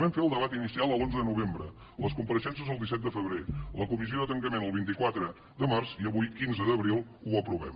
vam fer el debat inicial l’onze de novembre les compareixences el disset de febrer la comissió de tancament el vint quatre de març i avui quinze d’abril ho aprovem